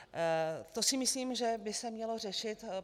To si myslím, že by se mělo řešit.